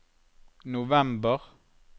november